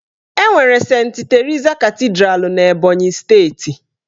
Enwere Sent Terisa Katidra n'Ebọnyị steeti.